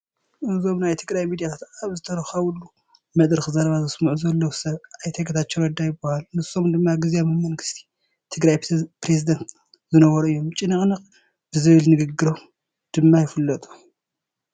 እዞም ናይ ትግራይ ሚድያታት ኣብ ዝተረኸባሉ መድረኽ ዘረባ ዘስምዑ ዘለዉ ሰብ ኣይተ ጌታቸው ረዳ ይበሃሉ፡፡ ንሶም ናይ ግዚያዊ መንግስቲ ትግራይ ፕረዚደንት ዝነበሩ እዮም፡፡ ጭንቕ ጭንቕ ብዝብል ንግግሮም ድማ ይፍለጡ፡፡